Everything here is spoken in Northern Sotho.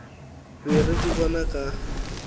be re di bona ka